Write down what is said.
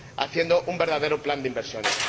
haciendo un verdadero plan de inversiones.